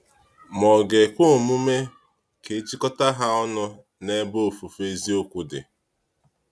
Ma ọ̀ ga-ekwe omume ka e jikọta ha ọnụ n’ebe ofufe eziokwu dị?